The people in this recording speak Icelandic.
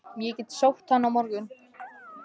Ég get sótt hann á morgun.